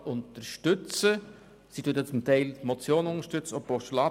Sie unterstützt zum Teil auch die Motion und auch die Postulate.